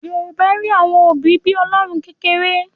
Yorùbá rí àwọn òbí bí Ọlọ́run kékeré